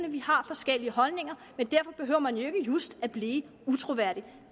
at vi har forskellige holdninger men derfor behøver man jo ikke just at blive utroværdig